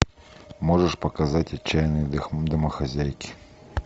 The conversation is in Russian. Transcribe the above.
можешь показать отчаянные домохозяйки